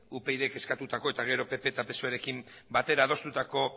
upydk eskatutako eta gero pp eta psoerekin batera adostutako